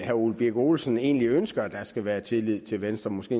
herre ole birk olesen egentlig ønsker at der skal være tillid til venstre måske